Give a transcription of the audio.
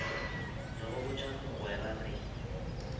re go botša mogwera re